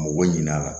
Mɔgɔ ɲin'a la